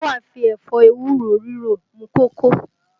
Táwa fi ẹ̀fọ́ ewúro ríro mú kókó